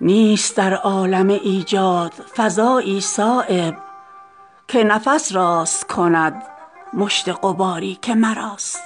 نیست در عالم ایجاد فضایی صایب که نفس راست کند مشت غباری که مراست